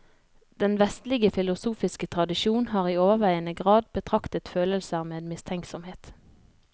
Den vestlige filosofiske tradisjon har i overveiende grad betraktet følelser med mistenksomhet.